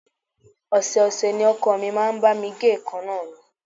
Ọ̀sẹ̀ ọ̀sẹ̀ ni ọkọ mi máa ń bá mi gé èèkánná mi